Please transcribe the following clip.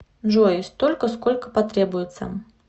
джой столько сколько потребуется